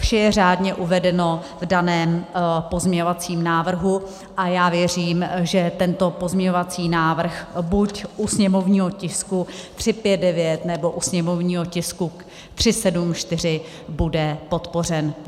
Vše je řádně uvedeno v daném pozměňovacím návrhu a já věřím, že tento pozměňovací návrh buď u sněmovního tisku 359, nebo u sněmovního tisku 374 bude podpořen.